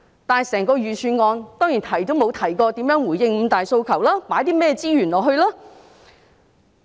可是，整份預算案當然沒提及如何回應"五大訴求"，以及該投放甚麼資源。